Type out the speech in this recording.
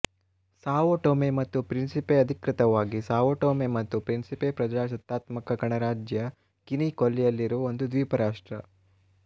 Sao Tome ಮತ್ತು Principe ಅಧಿಕೃತವಾಗಿ Sao Tome ಮತ್ತು ಪ್ರಿನ್ಸಿಪೆ ಪ್ರಜಾಸತ್ತಾತ್ಮಕ ಗಣರಾಜ್ಯ ಗಿನಿ ಕೊಲ್ಲಿಯಲ್ಲಿರುವ ಒಂದು ದ್ವೀಪರಾಷ್ಟ್ರ